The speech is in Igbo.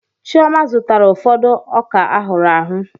Chioma zụtara ụfọdụ ọka ahuru ahu